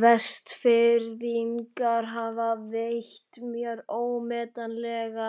Vestfirðingar hafa veitt mér ómetanlega